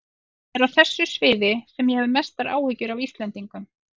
Það er á þessu sviði sem ég hef mestar áhyggjur af Íslendingum.